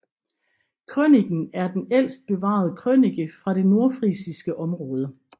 Krøniken er den ældste bevarede krønike fra det nordfrisiske område